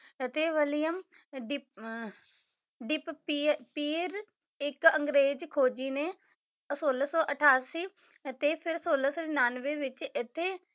ਅਤੇ ਵਲੀਅਮ ਦੀ ਆਹ ਦੀਪ ਪੀਅਰ ਇੱਕ ਅੰਗਰੇਜ਼ ਖੋਜੀ ਨੇ ਸੋਲਾਂ ਸੌ ਅਠਾਸੀ ਅਤੇ ਫਿਰ ਸੋਲਾਂ ਸੌ ਉਨਾਂਨਵੇਂ ਵਿੱਚ ਇੱਥੇ